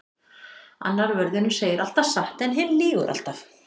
Annar vörðurinn segir alltaf satt en hinn lýgur alltaf.